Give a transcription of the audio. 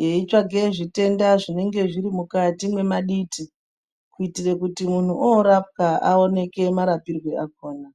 yeitsvage zvitenda zvinenge zvirimukati mwemaditi, kuitire kuti muntu oorapwa aoneke marapirwo akhona.